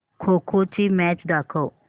खो खो ची मॅच दाखव